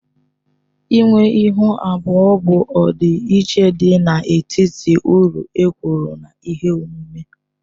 Ịnwe Ịhu abụọ bụ ọdịiche dị n'etiti uru e kwuru na ihe omume